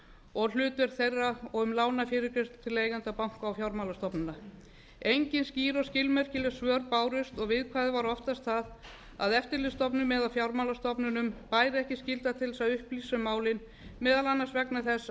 og hlutverk þeirra og um lánafyrirgreiðslu til eigenda banka og fjármálastofnana engin skýr og skilmerkileg svör bárust og viðkvæðið var oftast það að eftirlitsstofnunum eða fjármálastofnunum bæri ekki skylda til að upplýsa málin meðal annars vegna þess að